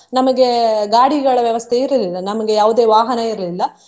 ನಮಗೆ ಗಾಡಿಗಳ ವ್ಯವಸ್ಥೆ ಇರಲಿಲ್ಲ ನಮ್ಗೆ ಯಾವುದೇ ವಾಹನ ಇರ್ಲಿಲ್ಲ.